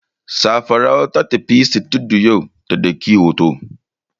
Safara'u ta tafi sitiduyo ta ɗauki hoto.